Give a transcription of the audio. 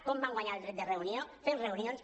com vam guanyar el dret de reunió fent reunions